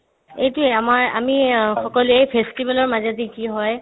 এইটোয়ে আমাৰ আমি অ সকলোয়ে festival ৰ মাজেদি কি হয়